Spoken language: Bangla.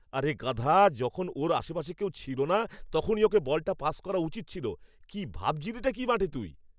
আরে গাধা! যখন ওর আশপাশে কেউ ছিল না, তখনই ওকে বলটা পাস করা উচিত ছিল। কী ভাবছিলিটা কী মাঠে তুই?